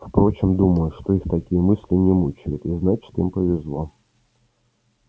впрочем думаю что их такие мысли не мучают и значит им повезло